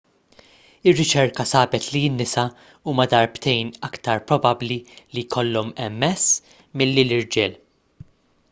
ir-riċerka sabet li n-nisa huma darbtejn aktar probabbli li jkollhom ms milli l-irġiel